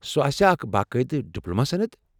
سۄ آسیٛا اکھ باقٲعدٕ ڈپلوما سند؟